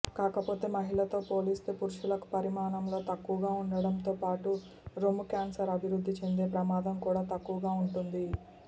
కాకపోతే మహిళలతో పోలిస్తే పురుషులకు పరిమాణంలో తక్కువగా ఉండడంతో పాటు రొమ్ముక్యాన్సర్ అభివృద్ధి చెందే ప్రమాదం కూడా తక్కువగా ఉంటుంది